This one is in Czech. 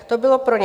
To bylo pro ně.